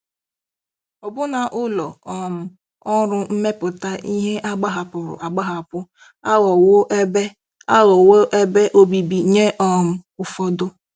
Ọbụna ụlọ um ọrụ mmepụta ihe a gbahapụrụ agbahapụ aghọwo ebe aghọwo ebe obibi nye um ụfọdụ.